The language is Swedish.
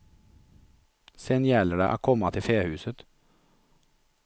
Sen gäller det att komma till fähuset.